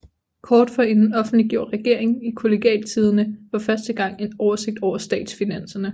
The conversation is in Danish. Kort forinden offentliggjorde regeringen i Kollegialtidende for første gang en oversigt over statsfinanserne